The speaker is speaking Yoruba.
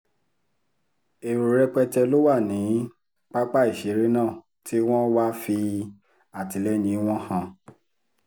èrò rẹpẹtẹ ló wà ní pápá ìṣeré náà tí wọ́n wáá fi àtìlẹyìn wọn hàn